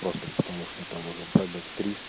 просто потому что там уже пробег триста